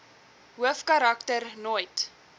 hoofkarak ter nooit